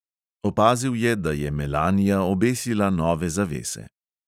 Opazil je, da je melanija obesila nove zavese.